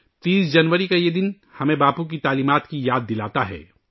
30 جنوری کا یہ دن ہمیں باپو کی تعلیمات کی یاد دلاتا ہے